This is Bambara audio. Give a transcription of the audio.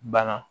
Bana